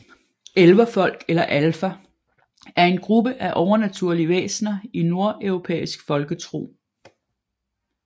Elverfolk eller alfer er en gruppe af overnaturlige væsner i nordeuropæisk folketro